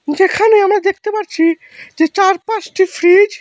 সেখানে আমরা দেখতে পাচ্ছি যে চার পাঁচটি ফ্রিজ ।